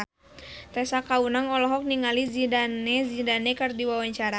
Tessa Kaunang olohok ningali Zidane Zidane keur diwawancara